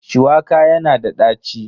Shuwaka yana da ɗaci.